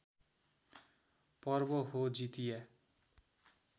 पर्व हो जितिया